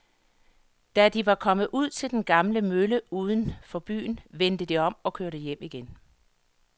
Da de var kommet ud til den gamle mølle uden for byen, vendte de om og kørte hjem igen.